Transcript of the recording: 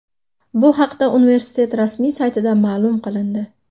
Bu haqda universitet rasmiy saytida ma’lum qilindi .